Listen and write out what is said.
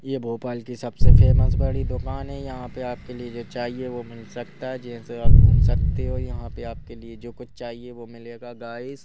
ये भोपाल की सबसे फेमस बड़ी दुकान है यहाँ पे आपके लिए जो चाहिए वो मिल सकता है जैसे आप घूम सकते हो यहाँ पे आपके लिए जो कुछ चाहिए वो मिलेगा गाइस ।